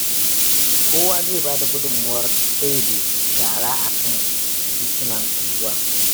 Kowa zai ba da gudunmawar ɗebe shara a kan titunan unguwar